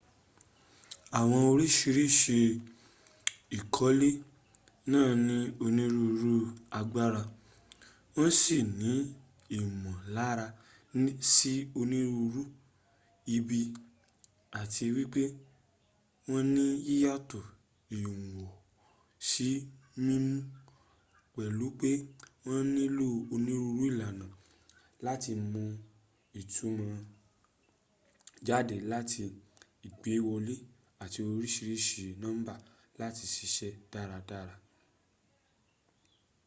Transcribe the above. àwọn oríṣiríṣi ìkọ́lé náà ni onírúru agbára wọn si ní ìmòlára sí onírurú ìgbì áti wípé wọn ní yíyàtọ̀ ìwọ̀n sí mímu pèlu pé wọn nílò onírúurú ìlànà láti mu ìtumò jádẹ lára ìgbéwọlẹ́ áti oríṣiríṣi nọ́mbà láti sisẹ́ dáradára